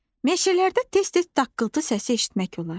Meşələrdə tez-tez daqqıltı səsi eşitmək olar.